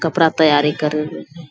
कपड़ा तैयारी करी रहलो छै।